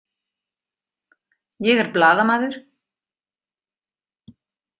Ég er blaðamaður.